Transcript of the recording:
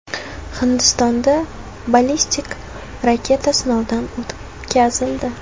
Hindistonda ballistik raketa sinovdan o‘tkazildi.